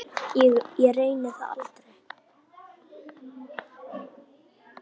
Ég reyni það aldrei.